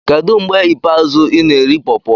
Kedu mgbe ikpeazụ ị na-eri pawpaw?